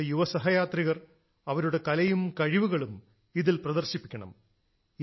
നമ്മുടെ യുവ സഹയാത്രികർ അവരുടെ കലയും കഴിവുകളും ഇതിൽ പ്രദർശിപ്പിക്കണം